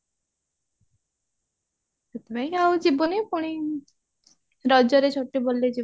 ସେଥିପାଇଁ ଆଉ ଯିବୁନି ପୁଣି ରଜରେ ଛୁଟି ପଡିଲେ ଯିବୁ